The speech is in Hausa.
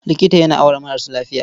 Likita yana auna maras lafiya.